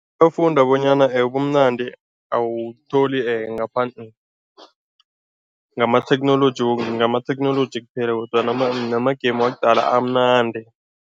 Bafunda bonyana ubumnandi awutholi ngaphandle ngamatheknoloji ngamatheknoloji kuphela kodwana nama-game wakudala amnandi.